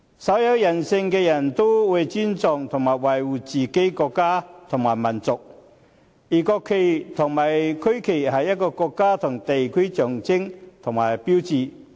稍有人性的人都會尊重和維護自己的國家和民族，而國旗和區旗是一個國家和地區的象徵與標誌。